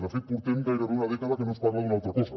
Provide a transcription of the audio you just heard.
de fet portem gairebé una dècada que no es parla d’una altra cosa